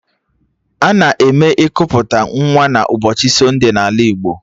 Ana eme ikuputa nwa n'ụbọchị sonde n'ala Igbo